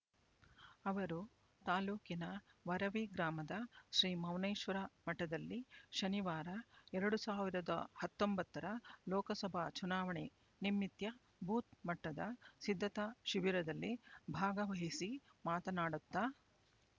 ಅವರು ತಾಲೂಕಿನ ವರವಿ ಗ್ರಾಮದ ಶ್ರೀ ಮೌನೇಶ್ವರ ಮಠದಲ್ಲಿ ಶನಿವಾರ ಎರಡು ಸಾವಿರದ ಹತ್ತೊಂಬತ್ತರ ಲೋಕಸಭಾ ಚುನಾವಣೆ ನಿಮಿತ್ಯ ಬೂತ್ ಮಟ್ಟದ ಸಿಧ್ಧತಾ ಶಿಬಿರದಲ್ಲಿ ಭಾಗವಹಿಸಿ ಮಾತನಾಡುತ್ತಾ